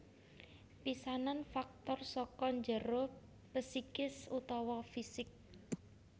Pisanan faktor saka njero psikis utawa fisik